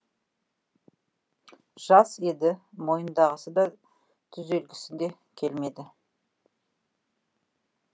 жас еді мойындағысы да түзелгісі де келмеді